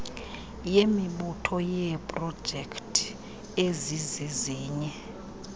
yemibutho yeeprojekthi ezizizinye